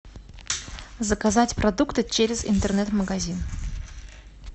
заказать продукты через интернет магазин